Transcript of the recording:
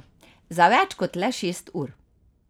Za več kot le šest ur.